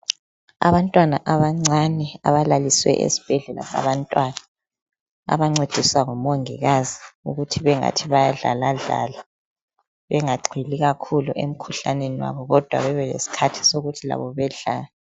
Abantwana abancane abalaliswe esibhedlela abantwana abancediswa ngumongikazi ukuthi bengani bayadlaladlala bengagxili kakhulu emkhuhlaneni kodwa babe lesikhathi sokuthi labo bedlale.